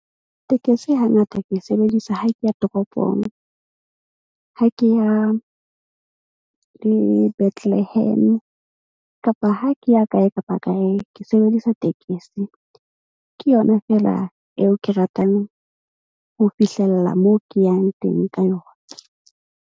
Tekesi hangata ke e sebedisa ha ke ya toropong. Ha ke ya le Bethlehem-e kapa ha ke ya kae kapa kae ke sebedisa tekesi. Ke yona feela eo ke ratang ho fihlella moo, ke yang teng ka yona.